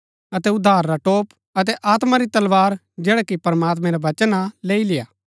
अतै उद्धार रा टोप अतै आत्मा री तलवार जैडा कि प्रमात्मैं रा वचन हा लेई लेय्आ